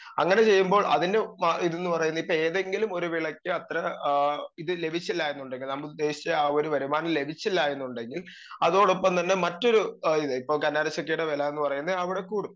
speaker 2 അങ്ങനെ ചെയ്യുമ്പോൾ അതിനു മ ഇത്ന്ന് പറയുന്നെ ഇപ്പേതെങ്കിലും ഒരു വിളക്ക് അത്ര ആ ഇത് ലഭിച്ചില്ല എന്നുണ്ടെങ്കി നാമുദ്ദേശിച്ച ആ ഒരു വരുമാനം ലഭിച്ചില്ലാ എന്നുണ്ടെങ്കി അതോടൊപ്പം തന്നെ മറ്റൊരു ആ വെലാന്ന് പറയുന്നെ അവിടെ കൂടും